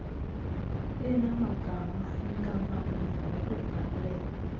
enamagama enkampani ngokubhalwe